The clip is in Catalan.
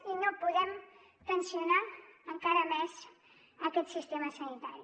i no podem tensionar encara més aquest sistema sanitari